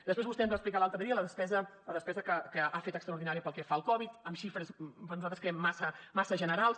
després vostè ens va explicar l’altre dia la despesa que ha fet extraordinària pel que fa al covid amb xifres bé nosaltres creiem massa generals